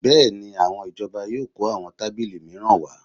Bẹ́ẹ̀ni, àwọn ìjọba yóò kó àwọn tábìlì mìíràn wá